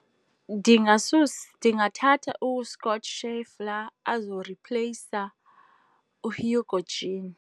Ndingathatha uScott Scheffler azoripleyisa uHugo Jean.